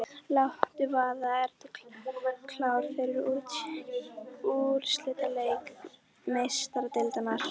Láttu vaða- Ertu klár fyrir úrslitaleik Meistaradeildarinnar?